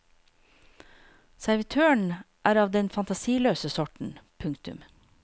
Servitøren er av den fantasiløse sorten. punktum